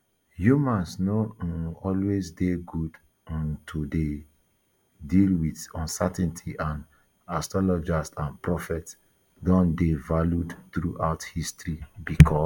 humans no um always dey good um to dey deal with uncertainty and astrologers and prophets don dey valued throughout history becos